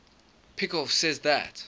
peikoff says that